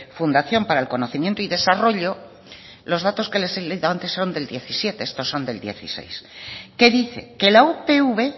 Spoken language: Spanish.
fundación para el conocimiento y desarrollo los datos que les he dado antes son del diecisiete estos son del dieciséis que dice que la upv